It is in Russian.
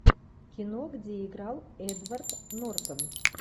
кино где играл эдвард нортон